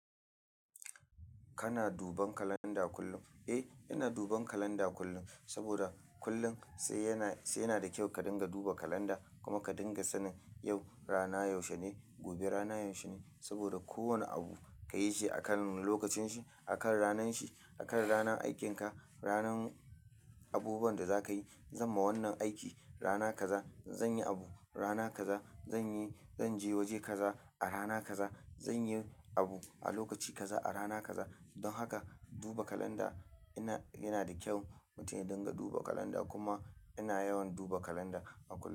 Kana duban kalanda kullum? Eh, ina duban kalanda kullum. Saboda, kullum sai yana, sai yana da kyau ka dinga duba kalanda, kuma ka dinga sanin yau rana yaushe ne, gobe rana yaushe ne. Saboda kowane abu ka yi shi akan lokacin shi, akan ranan shi, akan ranan aikinka. Ranan, abubuwan da za ka yi, Zan ma wannan aiki rana kaza, zan yi abu rana kaza, zan yi, zan je waje kaza, a rana kaza, zan yi abu a lokaci kaza a rana kaza, don haka duba kalanda yana, yana da kyau mutum ya dinga duba kalanda kuma ina yawan duba kalanda a kullum.